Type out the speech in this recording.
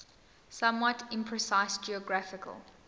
somewhat imprecise geographical